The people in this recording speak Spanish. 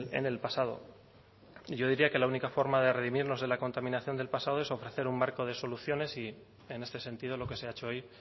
en el pasado yo diría que la única forma de redimirnos de la contaminación del pasado es ofrecer un marco de soluciones y en este sentido lo que se ha hecho hoy